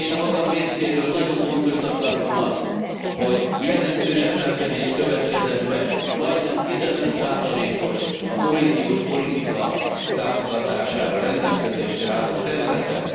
Én a magam részéről nagyon fontosnak tartom azt, hogy jelentős emelkedés következett be majdnem 15 os a kohéziós politika támogatására rendelkezésre álló területen.